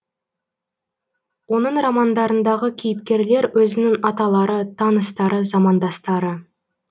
оның романдарындағы кейіпкерлер өзінің аталары таныстары замандастары